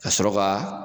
Ka sɔrɔ ka